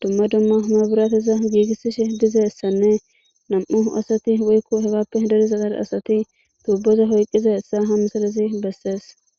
dumma dumma humaburaateza giigisishe diza essanne nam'u asati woykko hebappe dediza qar asati tuubboza hoyqqiza essa hamsalasi bessees.